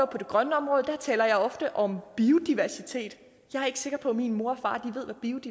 på det grønne område taler jeg ofte om biodiversitet jeg er ikke sikker på at min mor og far ved